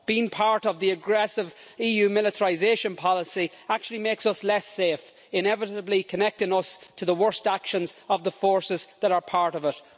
Being part of the aggressive EU militarisation policy actually makes us less safe, inevitably connecting us to the worst actions of the forces that are part of it.